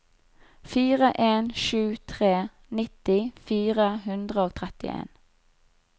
fire en sju tre nitti fire hundre og trettien